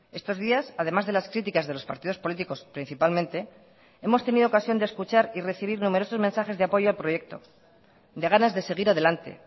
estos días además de las críticas de los partidos políticos principalmente hemos tenido ocasión de escuchar y recibir numerosos mensajes de apoyo al proyecto de ganas de seguir adelante